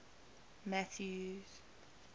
mathews